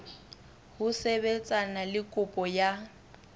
ho sebetsana le kopo ya